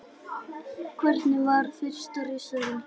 Hvernig varð fyrsta risaeðlan til?